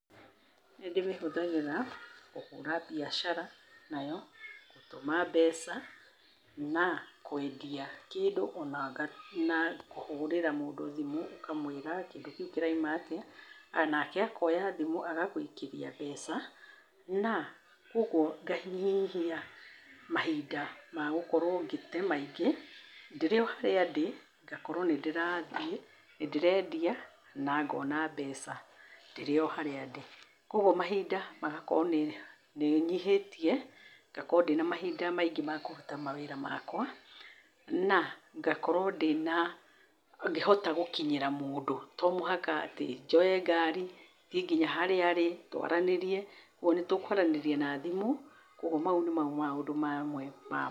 Nĩndĩmĩhũthagĩra, kũhũra mbiacara nayo, gũtũma mbeca na kwendia kĩndũ na kũhũrĩra mũndũ thimũ ũkamwĩra kĩndũ kĩrauma atĩa nake akoya thimũ agagũikĩria mbeca na kuogwo nganyihia mahinda mahinda magũkorwo ngĩte maingĩ ndĩrĩoharĩa ndĩ ngakorwo nĩndĩrathiĩ, nĩndĩrendia na ngona mbeca ndĩrĩoharĩa ndĩ. Kuogwo mahinda magakorwo nĩnyihĩtiĩ ngakorwo ndĩna mahinda maingĩ makũruta mawĩra makwa na ngakorwo ndĩna ngĩhota gũkinyĩra mũndũ. Tomũhaka atĩ thiĩ njoe ngari, thiĩ nginya harĩa arĩ, twaranĩrie. Kuogwo nĩtũkwaranĩria na thimũ, kuogwo mau nĩmo maũndũ mamwe.